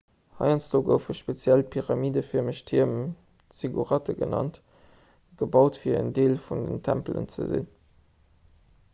heiansdo goufe speziell pyramidefërmeg tierm zigguratte genannt gebaut fir en deel vun den tempelen ze sinn